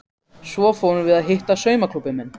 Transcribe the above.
Síðan förum við að hitta saumaklúbbinn minn.